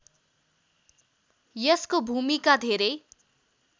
यसको भूमिका धेरै